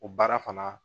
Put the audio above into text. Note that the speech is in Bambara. O baara fana